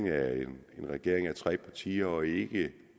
er en regering bestående af tre partier og ikke